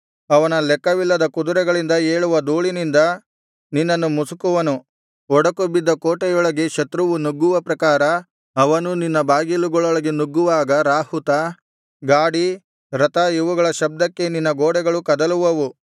ಅವನ ಲೆಕ್ಕವಿಲ್ಲದ ಕುದುರೆಗಳಿಂದ ಏಳುವ ಧೂಳಿನಿಂದ ನಿನ್ನನ್ನು ಮುಸುಕುವನು ಒಡಕು ಬಿದ್ದ ಕೋಟೆಯೊಳಗೆ ಶತ್ರುವು ನುಗ್ಗುವ ಪ್ರಕಾರ ಅವನು ನಿನ್ನ ಬಾಗಿಲುಗಳೊಳಗೆ ನುಗ್ಗುವಾಗ ರಾಹುತ ಗಾಡಿ ರಥ ಇವುಗಳ ಶಬ್ದಕ್ಕೆ ನಿನ್ನ ಗೋಡೆಗಳು ಕದಲುವವು